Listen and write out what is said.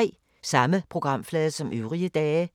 Samme programflade som øvrige dage